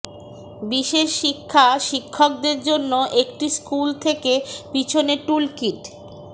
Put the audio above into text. বিশেষ শিক্ষা শিক্ষকদের জন্য একটি স্কুল থেকে পিছনে টুলকিট